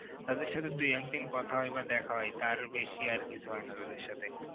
তাদের সাথে দু একদিন কথা হয় বা দেখা হয় তার বেশি আর কিছু হয় না তাদের সাথে